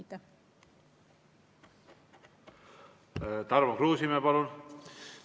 Tarmo Kruusimäe, palun!